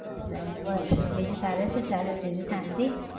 અમ બસ બીજું તારે શુ ચાલે છે બીજું શાંતિ?